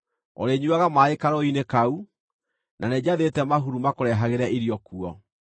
Ũrĩnyuuaga maaĩ karũũĩ-inĩ kau, na nĩnjathĩte mahuru makũrehagĩre irio kuo.”